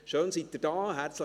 Schön, sind Sie hier.